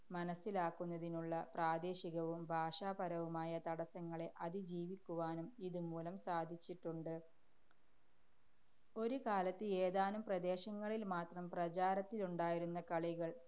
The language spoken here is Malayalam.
മനസ്സിലാക്കുന്നതിനുള്ള പ്രാദേശികവും ഭാഷാപരവുമായ തടസ്സങ്ങളെ അതിജീവിക്കുവാനും ഇതുമൂലം സാധിച്ചിട്ടുണ്ട്. ഒരുകാലത്ത് ഏതാനും പ്രദേശങ്ങളില്‍ മാത്രം പ്രചാരത്തിലുണ്ടായിരുന്ന കളികള്‍